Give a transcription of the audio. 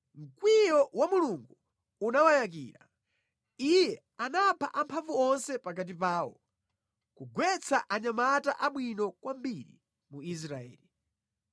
mkwiyo wa Mulungu unawayakira; Iye anapha amphamvu onse pakati pawo, kugwetsa anyamata abwino kwambiri mu Israeli.